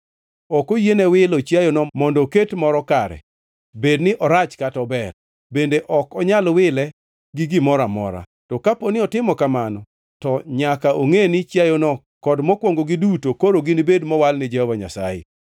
Ok oyiene wilo chiayono mondo oket moro kare, bedni orach kata ober, bende ok onyal wile gi gimoro amora. To kaponi otimo kamano, to nyaka ongʼe ni chiayono kod mokwongo giduto koro ginibed mowal ni Jehova Nyasaye.